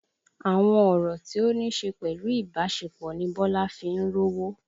Àwọn ọ̀rọ̀ tí ó níṣe pẹ̀lú ìbásepọ̀ ni Bọ́lá fi ń rówó